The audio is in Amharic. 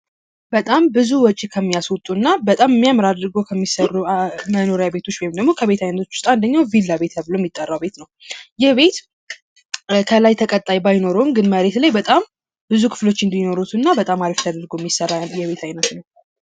በጣም ብዙ ወጭ ከሚያስወጡና በጣም እሚያምር አደርጎ ከሚሰሩ መኖሪያ ቤቶች ወይም ደግሞ ከቤቶች ውስጥ አንደኛው ቢላ ቤት የሚጠራው ቤት ነው። ይህ ቤት ከላይ ተቀጣይ ባይኖረውም ግን መሬት ላይ በጣም ብዙ ክፍሎች እንድኖሩት እና በጣም አሪፍ ተደርጎ የሚሰራ የቤት አይነት ነው።